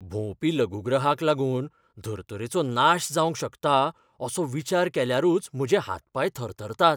भोंवपी लघुग्रहाक लागून धर्तरेचो नाश जावंक शकता, असो विचार केल्यारूच म्हजे हात पाय थरथरतात.